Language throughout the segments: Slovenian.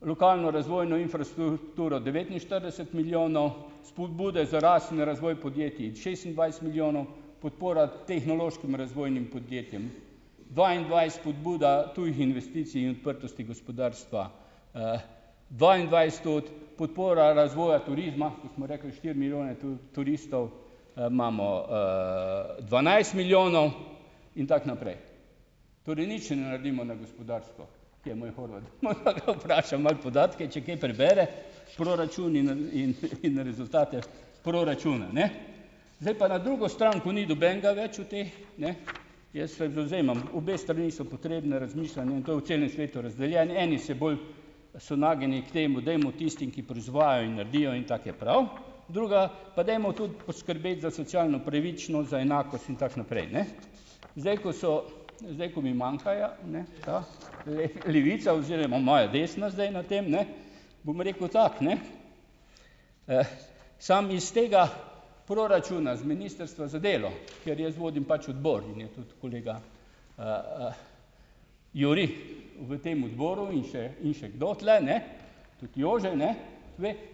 lokalno razvojno infrastrukturo devetinštirideset milijonov, spodbude za rast in razvoj podjetij šestindvajset milijonov, podpora tehnološkim razvojnim podjetjem dvaindvajset, spodbuda tujih investicij in odprtosti gospodarstva, dvaindvajset tudi, podpora razvoja turizma, kot smo rekli, štiri milijone turistov, imamo, dvanajst milijonov. In tako naprej. Torej nič ne naredimo na gospodarstvu. Kje je moj Horvat, podatke, če kaj prebere proračun, in, in, in rezultate proračuna, ne. Zdaj pa na drugo stran, ko ni nobenega več v teh, ne. Jaz se do zdaj imam obe strani so potrebne razmišljanja in to v celem svetu razdeljeni. Eni se bolj so nagnjeni k temu, dajmo tistim, ki proizvajajo in naredijo in tako je prav, druga pa dajmo tudi poskrbeti za socialno pravičnost, za enakost in tako naprej, ne. Zdaj, ko so, levica oziroma moja desna zdaj na tem, ne, bom rekel tako, ne. Samo iz tega proračuna z Ministrstva za delo, ker jaz vodim pač odbor in je tudi kolega Juri v tem odboru, in še in še kdo tule, ne. Tudi Jože, ne.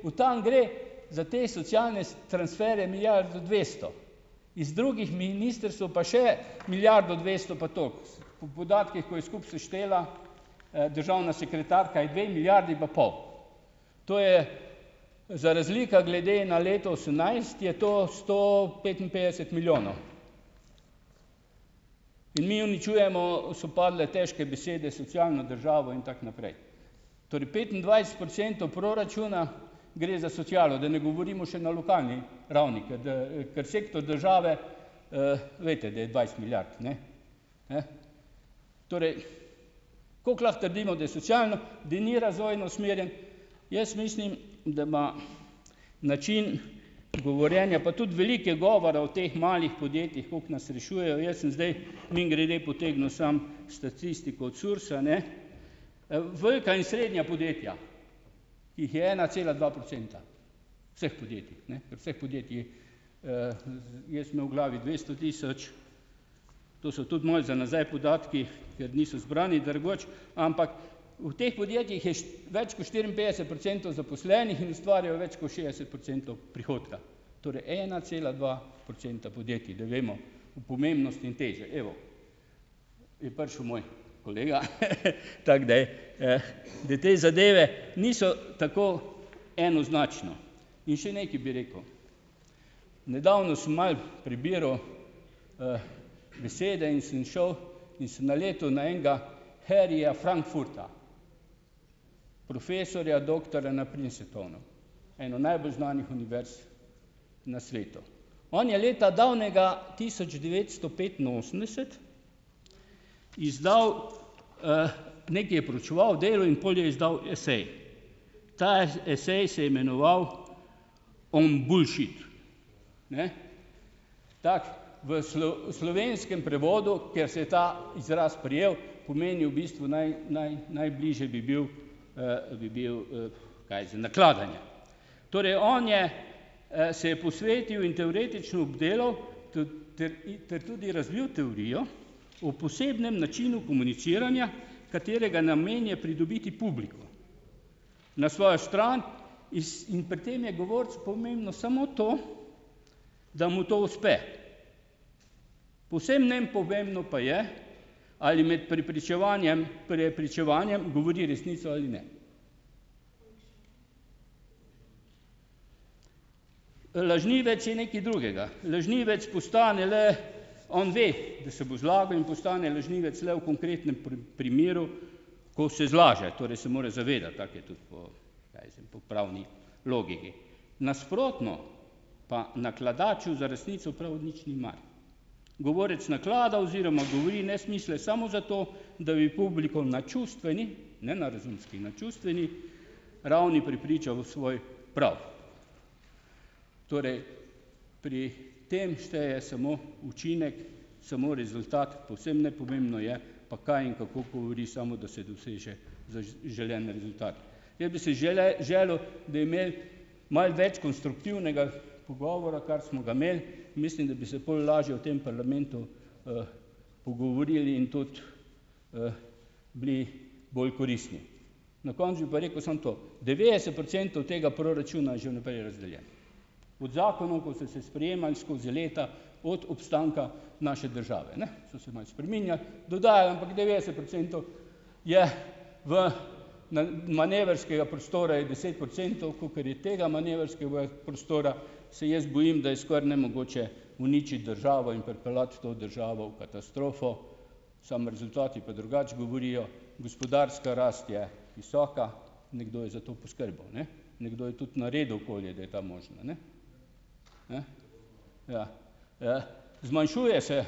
Od tam gre za te socialne transferje milijarda dvesto. Iz drugih ministrstev pa še milijardo dvesto pa tako. Po podatkih, ko je skupaj seštela, državna sekretarka je dve milijardi pa pol. To je za razlika glede na leto osemnajst je to sto petinpetdeset milijonov. In mi uničujemo, so padle težke besede, socialno državo in tako naprej. Torej petindvajset procentov proračuna gre za socialo, da ne govorimo še na lokalni ravni. Ker, kar sektor države, veste, da je dvajset milijard, ne. Torej, kako lahko trdimo, da je da ni razvojno usmerjen, jaz mislim, da ima način govorjenja, pa tudi veliko je govora o teh malih podjetjih, koliko nas rešujejo. Jaz sem zdaj mimogrede potegnil samo statistiko od SURS-a, ne. Velika in srednja podjetja, ki jih je ena cela dva procenta vseh podjetij, ne. Ker vseh podjetij, jaz sem imel v glavi dvesto tisoč, to so tudi moji za nazaj podatki, ker niso zbrani, drugače. Ampak v teh podjetjih je več kot štiriinpetdeset procentov zaposlenih in ustvarjajo več kot šest procentov prihodka. Torej ena cela dva procenta podjetij, da vemo o pomembnosti in teži. Evo, je prišel moj kolega. Tako, da, da te zadeve niso tako enoznačne. In še nekaj bi rekel. Nedavno sem malo prebiral besede in sem šel in sem naletel na enega Harryja Frankfurta. Profesorja, doktorja na Princetonu, eni najbolj znanih univerz na svetu. On je davnega leta tisoč devetsto petinosemdeset izdal, nekaj je proučeval, delal in pol je izdal esej. Ta esej se je imenoval On Bullshit, tako v slovenskem prevodu, ker se je ta izraz prijel, pomeni v bistvu, najbližje bi bil, bi bil kaj nakladanje. Torej, on je, se je posvetil in teoretično obdelal ter tudi razvil teorijo o posebnem načinu komuniciranja, katerega namen je pridobiti publiko na svojo stran iz in pri tem je govorcu pomembno samo to, da mu to uspe. Povsem nepomembno pa je, ali med prepričevanjem prepričevanjem govori resnico ali ne. Lažnivec je nekaj drugega, lažnivec postane le, on ve, da se bo zlagal in postane lažnivec le v konkretnem primeru, ko se zlaže. Torej se more zavedati, tako je tudi po, kaj jaz vem, po pravni logiki. Nasprotno pa nakladaču za resnico prav nič ni mar. Govorec naklada oziroma govori nesmisle samo zato, da bi publiko na čustveni, ne na razumski, na čustveni ravni prepričal v svoj prav. Torej pri tem šteje samo učinek, samo rezultat, povsem nepomembno je pa, kaj in kako govori, samo da se doseže zaželeni rezultat. Jaz bi si želel, da bi imeli malo več konstruktivnega pogovora, kar smo ga imeli, in mislim, da bi se pol lažje v tem parlamentu, pogovorili in tudi, bili bolj koristni. Na koncu bi pa rekel samo to, devetdeset procentov tega proračuna je že vnaprej razdeljenega. Pod zakonom, ko so se sprejemali skozi leta, od obstanka naše države, ne, so se malo spreminjali, dodajali, ampak devetdeset procentov je v manevrskega prostora je deset procentov, kakor je tega manevrskega prostora, se jaz bojim, da je skoraj nemogoče uničiti državo in pripeljati to državo v katastrofo. Samo rezultati pa drugače govorijo. Gospodarska rast je visoka, nekdo je za to poskrbel, ne. Nekdo je tudi naredil okolje, da je ta možna, ne. Zmanjšuje se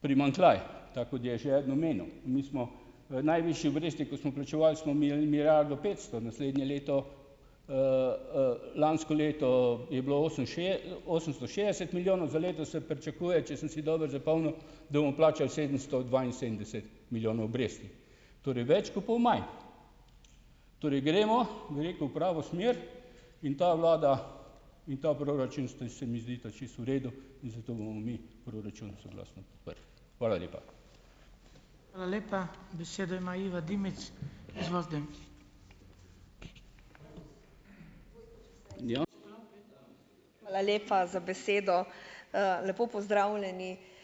primanjkljaj, tako kot je že eden omenil. In mi smo, najvišje obresti, ko smo plačevali, smo imeli milijardo petsto, naslednje leto, lansko leto je bilo osemsto šest milijonov, za letos se pričakuje, če sem si dobro zapomnil, da bomo plačali sedemsto dvainsedemdeset milijonov obresti. Torej, več kot pol manj. Torej, gremo, bi rekel, v pravo smer in ta vlada in ta proračun se mi zdita čisto v redu in zato bomo mi proračun soglasno podprli. Hvala lepa.